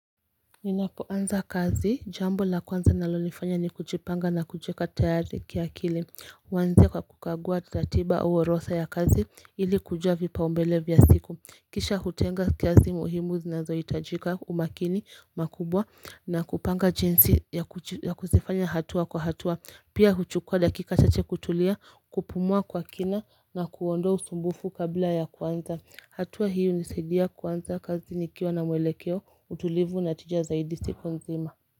Ninapoanza kazi jambo la kwanza nalolifanya ni kujipanga na kujieka tayari ki akili huanzia kwa kukagua ratiba au orodha ya kazi ili kujua vipaumbele vya siku kisha hutenga kazi muhimu zinazo hitajika umakini makubwa na kupanga jinsi ya ya kuzifanya hatua kwa hatua Pia huchukua dakika chache kutulia kupumua kwa kina na kuondoa usumbufu kabla ya kuanza. Hatua hii hunisaidia kuanza kazi nikiwa na mwelekeo utulivu na tija zaidi siku nzima.